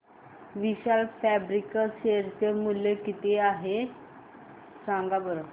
विशाल fabrics share चे मूल्य किती आहे सांगा बरं